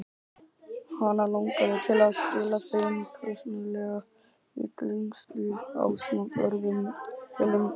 Hana langaði til að skila þeim persónulega í klaustrið ásamt öðrum helgum gripum.